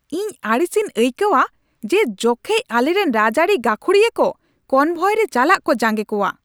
ᱤᱧ ᱟᱹᱲᱤᱥᱤᱧ ᱟᱹᱭᱠᱟᱹᱣᱟ ᱡᱮ ᱡᱚᱠᱷᱮᱡ ᱟᱞᱮᱨᱮᱱ ᱨᱟᱡᱽᱟᱹᱨᱤ ᱜᱟᱹᱠᱷᱩᱲᱤᱭᱟᱹ ᱠᱚ ᱠᱚᱱᱵᱷᱚᱭᱨᱮ ᱪᱟᱞᱟᱜ ᱠᱚ ᱡᱟᱝᱜᱮ ᱠᱚᱣᱟ ᱾